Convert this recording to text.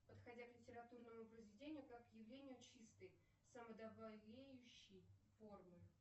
подходя к литературному произведению как к явлению чистой самодовлеющей формы